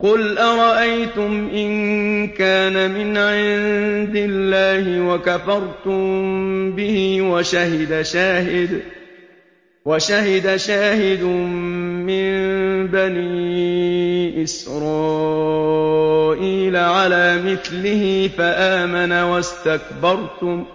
قُلْ أَرَأَيْتُمْ إِن كَانَ مِنْ عِندِ اللَّهِ وَكَفَرْتُم بِهِ وَشَهِدَ شَاهِدٌ مِّن بَنِي إِسْرَائِيلَ عَلَىٰ مِثْلِهِ فَآمَنَ وَاسْتَكْبَرْتُمْ ۖ